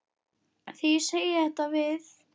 Þegar ég segi þetta við